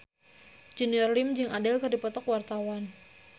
Junior Liem jeung Adele keur dipoto ku wartawan